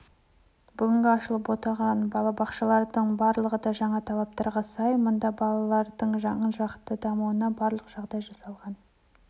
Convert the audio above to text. бүгінгі ашылып отырған балабақшалардың барлығы да жаңа талаптарға сай мұнда балалардың жан-жақты дамуына барлық жағдай жасалған